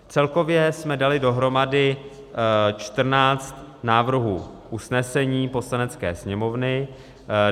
Celkově jsme dali dohromady 14 návrhů usnesení Poslanecké sněmovny.